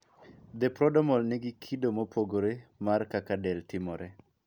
The prodromal ni gi kido mopogore mar kaka del timore .